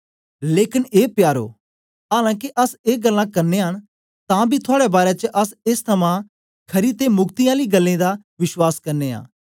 लेकन ए प्यारो आलां के अस ए गल्लां करनयां न तां बी थुआड़े बारै च अस एस थमां खरी ते मुक्ति आलीं गल्लें दा विश्वास करने आं